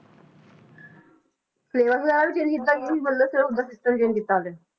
Syllabus ਵਗ਼ੈਰਾ ਵੀ change ਕੀਤਾ ਕਿ ਮਤਲਬ change ਕੀਤਾ ਹਾਲੇ।